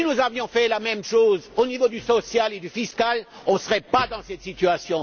Si nous avions fait la même chose au niveau social et fiscal, nous ne serions pas dans cette situation.